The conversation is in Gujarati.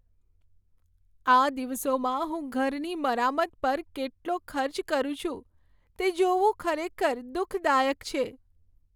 આ દિવસોમાં હું ઘરની મરામત પર કેટલો ખર્ચ કરું છું, તે જોવું ખરેખર દુઃખદાયક છે.